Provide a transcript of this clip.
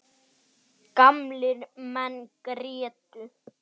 Gamlir menn grétu.